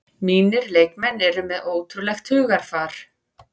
Mínir leikmenn eru með ótrúlegt hugarfar